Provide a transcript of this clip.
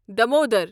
Damodar